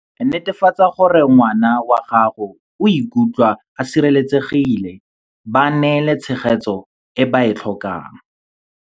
Netefatsa gore ngwana wa gago o ikutlwa a sireletsegile, ba neele tshegetso e ba e tlhokang.